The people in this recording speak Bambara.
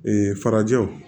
farajɛw